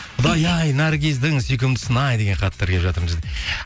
құдай ай наргиздің сүйкімдісін ай деген хаттар келіп жатыр